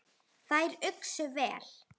Þær uxu vel.